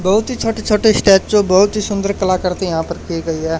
बहोत ही छोटे छोटे स्टैचू बहुत ही सुंदर कला कृति यहां पर की गई है।